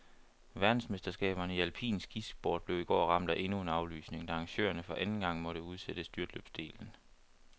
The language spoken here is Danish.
Verdensmesterskaberne i alpin skisport blev i går ramt af endnu en aflysning, da arrangørerne for anden gang måtte udsætte styrtløbsdelen.